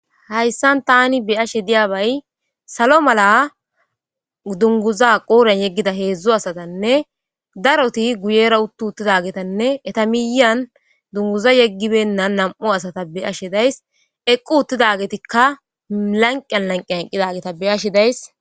Hayssan tani beyashe dizayssi salo mala dunguza qodhdhen yegida hedzdzu asatatanne darotti guyera uutti uuttidagetanne eetta miyan dunguza yeegi beynanii nam'u asata beyashe dayssi eeqi uuttidagetikka lanqen lanqen eeqidagetakka beyashe dayssi